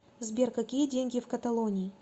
сбер какие деньги в каталонии